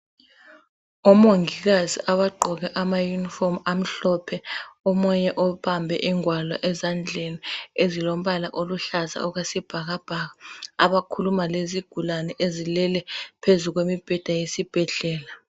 Omongikazi abaqoke ama uniform amhlophe, omunye obambe ingwalo ezandleni ezilombala oluhlaza okwesibhakabhaka abakhuluma lezigulane ezilele phezu kwemibheda yesibhedlela.